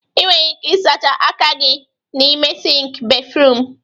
Ị nwere ike ịsacha aka gị n'ime sịnkị béfrụm.